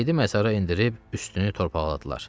Meyidi məzara endirib üstünü torpaqladılar.